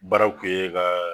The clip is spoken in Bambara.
Baaraw kun ɲe kaa.